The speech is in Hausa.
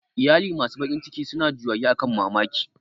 Iyali masu bakin ciki suna juyayi akan mamaci